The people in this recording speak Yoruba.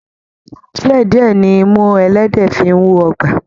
Díẹ̀ díẹ̀ ní imú ẹlẹ́dẹ̀ẹ́ fi ń wọgbà.